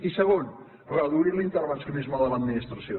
i segon reduir l’intervencionisme de l’administració